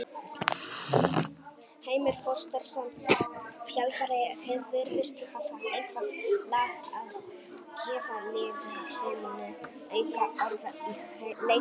Heimir Þorsteinsson, þjálfari virðist hafa eitthvað lag á gefa liði sínu auka orku í leikhléi.